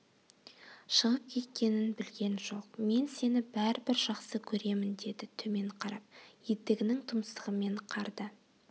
шығып кеткенін білген жоқ мен сені бәрібір жақсы көремін деді төмен қарап етігінің тұмсығымен қарды